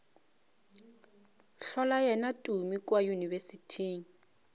hlola yena tumi kua yunibesithing